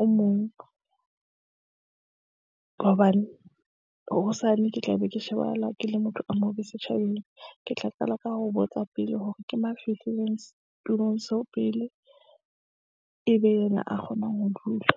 o mong ka hobane hosane ke tla be ke shebahala ke le motho a mobe setjhabeng. Ke tla qala ka ho botsa pele hore ke mang a fihlileng setulong seo pele e be yena a kgonang ho dula.